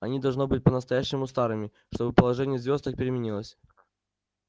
они должны быть по-настоящему старыми чтобы положение звёзд так переменилось